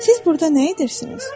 Siz burda nə edirsiniz?